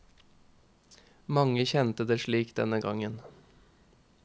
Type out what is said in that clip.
Mange kjende det slik denne gongen.